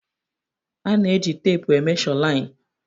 E ji teepu e mesho lain